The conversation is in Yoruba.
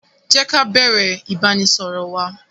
Jé ká bẹ̀rẹ̀ ìbánisọọ̀rọ̀ wa!